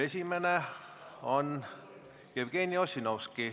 Esimene on Jevgeni Ossinovski.